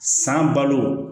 San balo